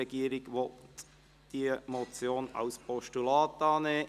Der Regierungsrat will diese Motion als Postulat annehmen.